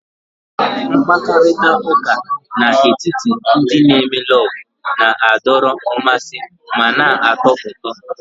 Mkparịta ụka n'etiti ndị n'eme lovu na-adọrọ mmasị ma na-atọ ụtọ